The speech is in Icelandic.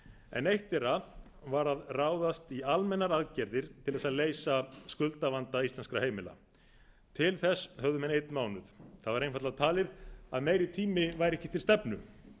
en eitt þeirra var að ráðast í almennar aðgerðir til þess að leysa skuldavanda íslenskra heimila til þess höfðu menn einn mánuð það var einfaldlega talið að meiri tími væri ekki til stefnu